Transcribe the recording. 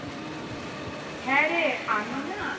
হ্যাঁ রে আমি না